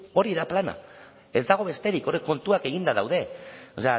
hori da plana ez dago besterik hor kontuak eginda daude o